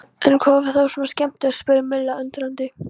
En hvað var þá svona skemmtilegt? spurði Milla undrandi.